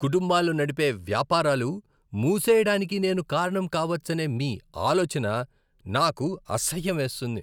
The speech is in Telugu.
కుటుంబాలు నడిపే వ్యాపారాలు మూసెయ్యడానికి నేను కారణం కావచ్చనే మీ ఆలోచన నాకు అసహ్యమేస్తుంది.